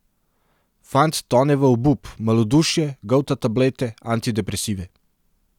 Fant tone v obup, malodušje, golta tablete, antidepresive.